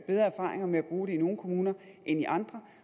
erfaringer med at bruge det i nogle kommuner end i andre